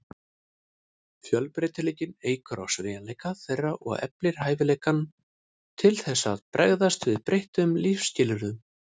Fjölbreytileikinn eykur á sveigjanleika þeirra og eflir hæfileikann til þess að bregðast við breyttum lífsskilyrðum.